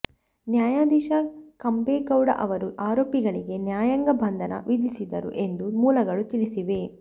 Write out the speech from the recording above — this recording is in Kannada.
ನ್ಯಾಯಾಧೀಶ ಕಂಬೇಗೌಡ ಅವರು ಆರೋಪಿಗಳಿಗೆ ನ್ಯಾಯಾಂಗ ಬಂಧನ ವಿಧಿಸಿದರು ಎಂದು ಮೂಲಗಳು ತಿಳಿಸಿವೆ